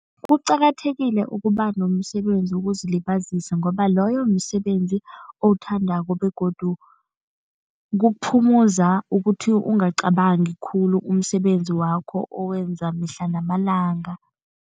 Kuqakathekile ukuba nomsebenzi wokuzilibazisa ngoba loyo msebenzi owuthandako begodu kuphumuza ukuthi ungacabangi khulu umsebenzi wakho owenza mihla namalanga.